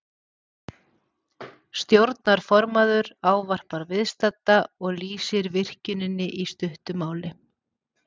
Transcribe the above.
Stjórnarformaður ávarpar viðstadda og lýsir virkjuninni í stuttu máli.